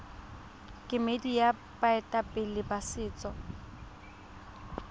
kemedi ya baeteledipele ba setso